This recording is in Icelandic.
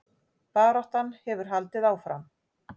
Baráttan hefur haldið áfram